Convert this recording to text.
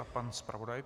A pan zpravodaj.